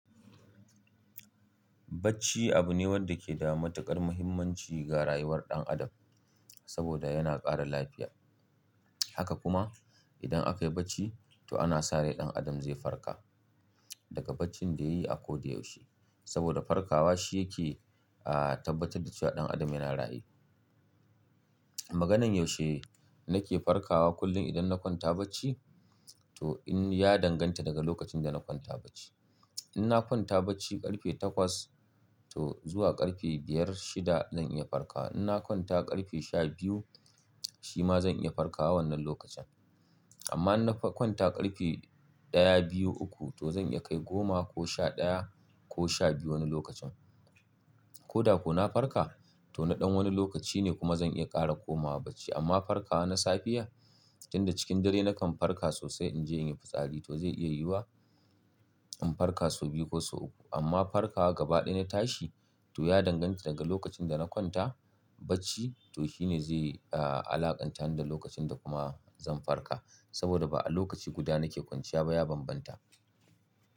Bacci abu ne wanda ke da matuƙar mahimmanci ga rayuwar ɗan Adam, saboda yana ƙara lafiya. Haka kuma, idan aka yi bacci, to ana sa rai ɗan Adam zai farka, daga baccin da yayi a ko da yaushe. Saboda farkawa shi yake, a tabbatar da cewa ɗan Adam yana raye. Maganan yaushe nake farkawa kullum idan na kwanta bacci, to in, ya danganta daga lokacin da na kwanta bacci. In na kwanta bacci ƙarfe takwas, to zuwa ƙarfe biyar, shida zan iya farkawa. In na kwanta ƙarfe sha biyu, shi ma zan iya farkawa wannan lokacin. Amma in na kwanta ƙarfe ɗaya, biyu, uku, to zan iya kai goma ko sha ɗaya, ko sha biyu wani lokacin. Ko da ko na farka, to na ɗan wani lokaci ne kuma zan iya ƙara komawa bacci. Amma farkawa na safiya, tunda cikin dare nakan farka sosai in je in yi fitsari, to zai iya yiwuwa, in farka sau biyu ko sau uku. Amma farkawa gaba ɗaya na tashi, to ya danganta daga lokacin da na kwanta bacci, to shi ne zai, a alaƙanta ni da lokacin da kuma zan farka. Saboda ba'a lokaci guda nake kwanciya ba ya bambanta.